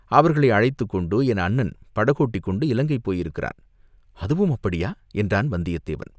அவர்களை அழைத்துக் கொண்டு என் அண்ணன் படகோட்டிக் கொண்டு இலங்கைக்குப் போயிருக்கிறான் அதுவும் அப்படியா, என்றான் வந்தியத்தேவன்.